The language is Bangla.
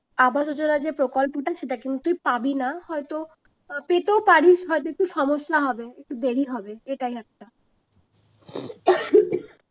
যে প্রকল্পটা সেটা কিন্তু পাবি না হয়তো আহ পেতেও পারিস সমস্যা হবে একটু দেরি হবে এটাই একটা